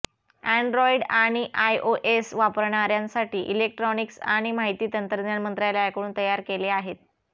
Android आणि iOS वापरणार्यांसाठी electronics आणि माहिती तंत्रज्ञान मंत्रालयाकडून तयार केले आहे